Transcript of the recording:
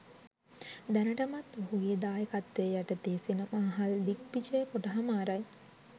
දැනටමත් ඔහුගේ දායකත්වය යටතේ සිනමාහල් දිග්විජය කොට හමාරයි